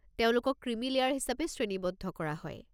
তেওঁলোকক creamy layer হিচাপে শ্ৰেণীবদ্ধ কৰা হয়।